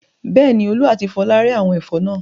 Bẹ́ẹ̀ni, Olú àti Fola rẹ́ àwọn ẹ̀fọ́ náà.